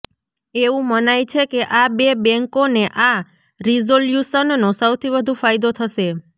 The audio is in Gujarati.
એવું મનાય છે કે આ બે બેન્કોને આ રેઝોલ્યૂશનનો સૌથી વધુ ફાયદો થશે